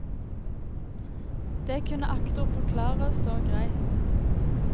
Det kunne aktor forklare så greit.